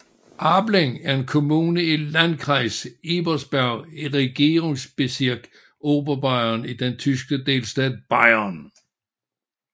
Aßling er en kommune i Landkreis Ebersberg i Regierungsbezirk Oberbayern i den tyske delstat Bayern